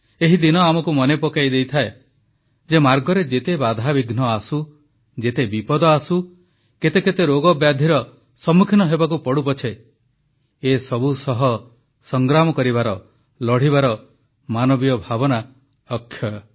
ଏହି ଦିନ ଆମକୁ ମନେ ପକାଇ ଦେଇଥାଏ ଯେ ମାର୍ଗରେ ଯେତେ ବାଧା ବିଘ୍ନ ଆସୁ ଯେତେ ବିପଦ ଆସୁ କେତେ କେତେ ରୋଗବ୍ୟାଧିର ସମ୍ମୁଖୀନ ହେବାକୁ ପଡ଼ୁ ପଛେ ଏସବୁ ସହ ସଂଗ୍ରାମ କରିବାର ଲଢ଼ିବାର ମାନବୀୟ ଭାବନା ଅକ୍ଷୟ